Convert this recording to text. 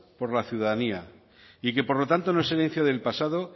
por la ciudadanía y que por lo tanto no es herencia del pasado